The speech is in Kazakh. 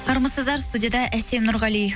армысыздар студияға әсем нұрғали